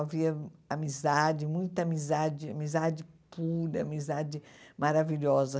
Havia amizade, muita amizade, amizade pura, amizade maravilhosa.